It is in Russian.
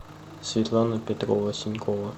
светлана петрова синькова